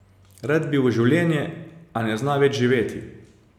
Rad bi v življenje, a ne zna več živeti.